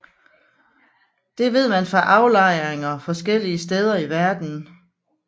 Det ved man fra aflejringer forskellige steder i verden